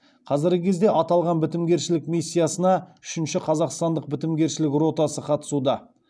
қазіргі кезде аталған бітімгершілік миссиясына үшінші қазақстандық бітімгершілік ротасы қатысуда